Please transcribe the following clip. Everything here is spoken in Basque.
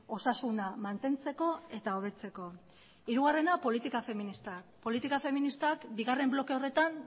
osasuna mantentzeko eta hobetzeko hirugarrena politika feminista politika feministak bigarren bloke horretan